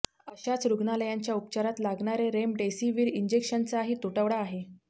अशातच रुग्णांच्या उपचारात लागणारे रेमडेसिवीर इंजेक्शनचाही तुटवडा आहे